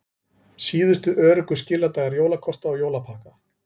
Síðustu öruggu skiladagar jólakorta og jólapakka